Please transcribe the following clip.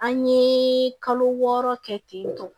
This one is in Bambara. An ye kalo wɔɔrɔ kɛ ten tɔn